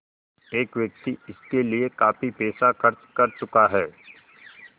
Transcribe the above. एक व्यक्ति इसके लिए काफ़ी पैसा खर्च कर चुका है